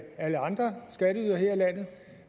alle andre skatteydere her i landet